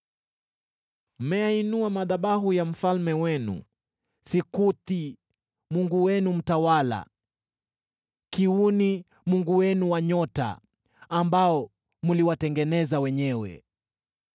Mmeyainua madhabahu ya mfalme wenu, Sikuthi mungu wenu mtawala, na Kiuni mungu wenu wa nyota, ambao mliwatengeneza wenyewe.